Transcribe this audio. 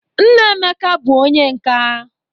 Nna Emeka bụ onye nka.